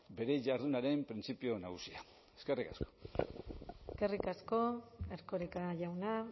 bere jardunaren printzipio nagusia eskerrik asko eskerrik asko erkoreka jauna